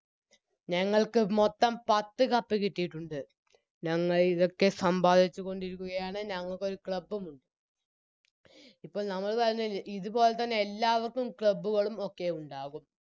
ഞങ്ങൾക്ക് മൊത്തം പത്ത് Cup കിട്ടിയിട്ടുണ്ട് ഞങ്ങളിതൊക്കെ സമ്പാദിച്ചുകൊണ്ടിരിക്കുകയാണ് ഞങ്ങൾക്കൊരു Club ഉം ഉണ്ട് ഇപ്പോൾ നമ്മൾപറഞ്ഞയല്ലേ ഇത്പോൽത്തന്നെ എല്ലാവർക്കും Club കളും ഒക്കെ ഉണ്ടാവും